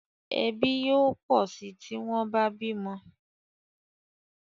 Ẹbí yóò pọ sí tí wón bá bímo